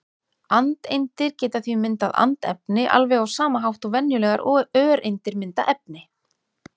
Andeindir geta því myndað andefni alveg á sama hátt og venjulegar öreindir mynda efni.